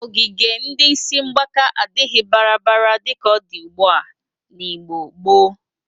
Ogige ndị isi mgbaka adịghị baradabara dịka ọ dị ugbụa n'Igbo gboo.